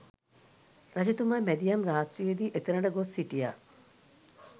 රජතුමා මැදියම් රාත්‍රියේ දී එතැනට ගොස් සිටියා.